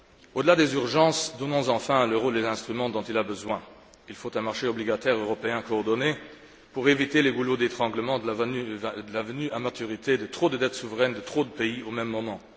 Au delà des urgences, donnons enfin à l'euro les instruments dont il a besoin. Il faut un marché obligataire européen coordonné pour éviter les goulets d'étranglement de la venue à maturité de trop de dettes souveraines de trop de pays au même moment.